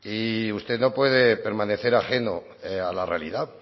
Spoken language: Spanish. y usted no puede permanecer ajeno a la realidad